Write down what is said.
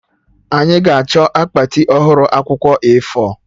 Anyị ga-achọ akpati ọhụrụ akwụkwọ A4